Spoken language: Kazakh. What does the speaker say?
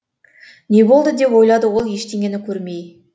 не болды деп ойлады ол ештеңені көрмей